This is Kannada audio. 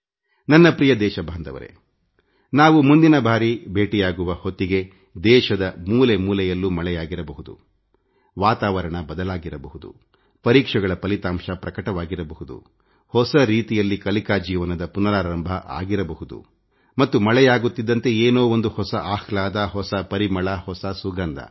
ನನ್ನ ನಲ್ಮೆಯ ದೇಶವಾಸಿಗಳೇ ನಾವು ಮುಂದಿನ ಬಾರಿ ಭೇಟಿಯಾಗುವ ಹೊತ್ತಿಗೆ ದೇಶದ ಮೂಲೆ ಮೂಲೆಯಲ್ಲೂ ಮಳೆಯಾಗಿರಬಹುದುವಾತಾವರಣ ಬದಲಾಗಿರಬಹುದುಪರೀಕ್ಷೆಗಳ ಫಲಿತಾಂಶ ಪ್ರಕಟವಾಗಿರಬಹುದುಹೊಸ ರೀತಿಯಲ್ಲಿ ಕಲಿಕಾ ಜೀವನದ ಪುನರಾರಂಭ ಆಗಿರಬಹುದು ಮತ್ತು ಮಳೆಯಾಗುತ್ತಿದ್ದಂತೆ ಏನೋ ಒಂದು ಹೊಸ ಆಹ್ಲಾದ ಹೊಸ ಪರಿಮಳ ಹೊಸ ಸುಗಂಧ